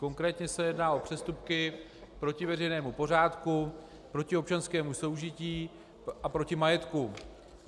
Konkrétně se jedná o přestupky proti veřejnému pořádku, proti občanskému soužití a proti majetku.